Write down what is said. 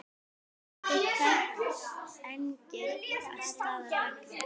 Vildi hvergi annars staðar vera.